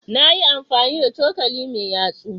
Na yi amfani da cokali mai yatsu.